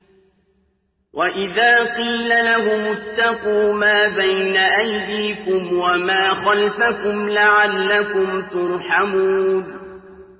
وَإِذَا قِيلَ لَهُمُ اتَّقُوا مَا بَيْنَ أَيْدِيكُمْ وَمَا خَلْفَكُمْ لَعَلَّكُمْ تُرْحَمُونَ